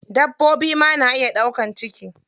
Dabbobi ma na iya ɗaukan ciki.